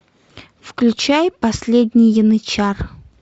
включай последний янычар